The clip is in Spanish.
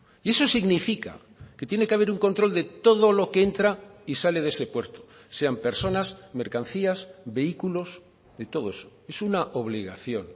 y eso significa que tiene que haber un control de todo lo que entra y sale de ese puerto sean personas mercancías vehículos de todo eso es una obligación